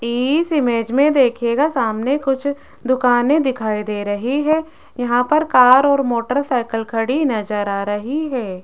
इस इमेज में देखिएगा सामने कुछ दुकानें दिखाई दे रही है यहां पर कार और मोटरसाइकल खड़ी नजर आ रही है।